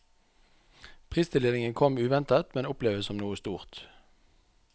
Pristildelingen kom uventet, men oppleves som noe stort.